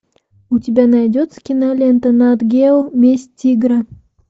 у тебя найдется кинолента нат гео месть тигра